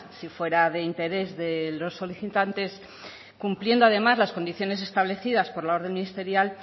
si fuera de interés de los solicitantes cumpliendo además las condiciones establecidas por la orden ministerial